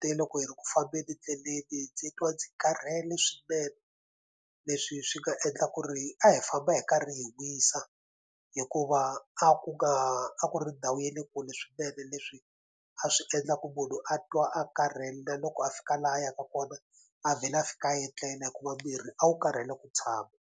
te loko hi ri ku fambeni ndleleni ndzi twa ndzi karhele swinene leswi swi nga endla ku ri a hi famba hi karhi hi wisa hikuva a ku nga a ku ri ndhawu ya le kule swinene leswi a swi endla ku munhu a twa a karhele na loko a fika laha a yaka kona a vhela a fika a etlela hikuva mirhi a wu karhele ku tshama.